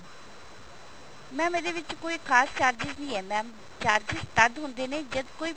mam ਇਹਦੇ ਵਿੱਚ ਕੋਈ ਖਾਸ charges ਨਹੀਂ ਹੈ mam charges ਤਦ ਹੁੰਦੇ ਜਦ ਕੋਈ